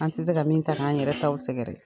An tɛ se ka min ta k' an yɛrɛ t'w sɛgɛrɛ.